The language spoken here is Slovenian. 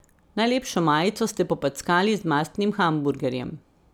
Najlepšo majico ste popackali z mastnim hamburgerjem.